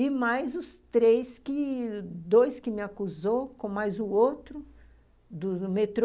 E mais os três que... dois que me acusou, com mais o outro, do metrô.